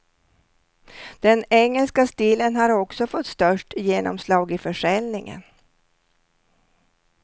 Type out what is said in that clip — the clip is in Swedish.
Den engelska stilen har också fått störst genomslag i försäljningen.